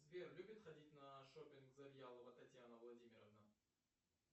сбер любит ходить на шопинг завьялова татьяна владимировна